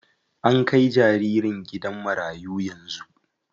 An kai jaririn gidan marayu yanzu.